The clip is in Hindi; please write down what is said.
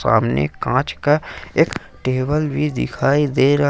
सामने एक कांच का एक टेबल भी दिखाई दे रहा।